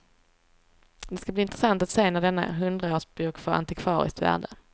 Det ska bli intressant att se när denna hundraårsbok får antikvariskt värde.